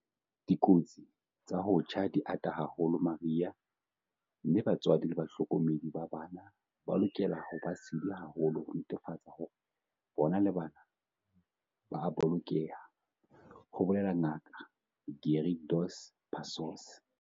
"Dikotsi tsa ho tjha di ata haholo mariha mme batswadi le bahlokomedi ba bana ba lokela ho ba sedi haholo ho netefatsa hore bona le bana ba a bolokeha," ho bolela Ngaka Gary Dos Passos.